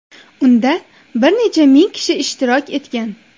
Unda bir necha ming kishi ishtirok etgan .